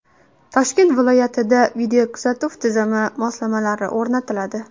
Toshkent viloyatida videokuzatuv tizimi moslamalari o‘rnatiladi.